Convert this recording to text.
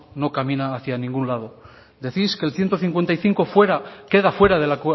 no camina hacia ningún lado decís que el ciento cincuenta y cinco fuera queda fuera del